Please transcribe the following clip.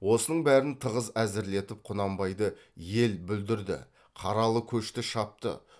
осының бәрін тығыз әзірлетіп құнанбайды ел бүлдірді қаралы көшті шапты